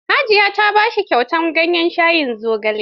Hajiya ta ba shi kyautar ganyen shayin zogale.